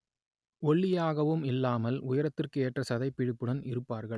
ஒல்லியாகவும் இல்லாமல் உயரத்திற்கு ஏற்ற சதைப்பிடிப்புடன் இருப்பார்கள்